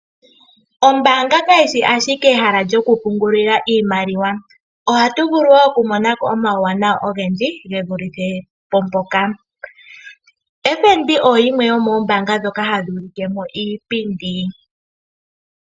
Ombaaga yotango yopashigwana ohayi vulu okugandja omauwanawa ga yooloka ngaashi, oku kundaneka oshigwana kombinga yiipindi. Okashina koku komba momagumbo ka tulwa ko fanditha keli kondando yopevi oN$1799.00.